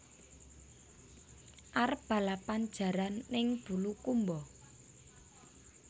Arep balapan jaran ning Bulukumba